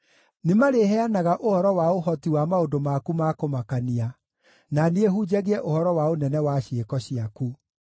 Nĩmarĩheanaga ũhoro wa ũhoti wa maũndũ maku ma kũmakania, na niĩ hunjagie ũhoro wa ũnene wa ciĩko ciaku.